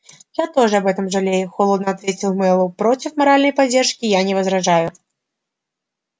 я тоже об этом жалею холодно ответил мэллоу против моральной поддержки я не возражаю